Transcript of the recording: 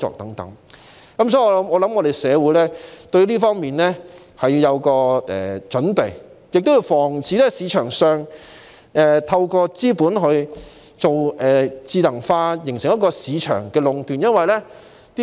有見及此，我認為社會應對這方面有所準備，防範有人在市場上以資本進行智能化作出壟斷。